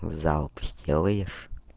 залп сделаешь